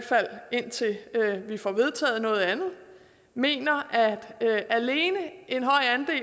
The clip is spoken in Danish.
fald indtil vi får vedtaget noget andet mener at alene